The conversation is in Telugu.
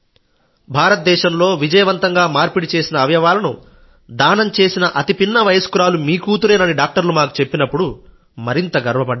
భారతదేశంలో విజయవంతంగా మార్పిడి చేసిన అవయవాలను దానం చేసిన అతి పిన్న వయస్కురాలు మీ కూతురేనని డాక్టర్లు మాకు చెప్పినప్పుడు మరింత గర్వపడ్డాం